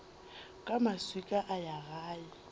ka maswika a ya gae